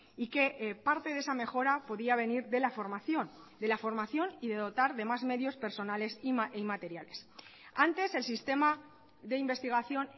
y que parte de esa mejora podía venir de la formación de la formación y de dotar de más medios personales y materiales antes el sistema de investigación